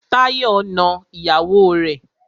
Táyọ̀ na ìyàwó rẹ̀.